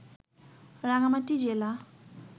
রাঙামাটি জেলা